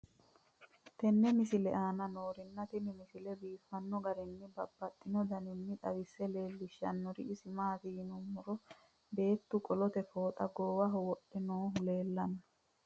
tenne misile aana noorina tini misile biiffanno garinni babaxxinno daniinni xawisse leelishanori isi maati yinummoro beettu qolotte fooxxa goowaho wodhe noohu leelanno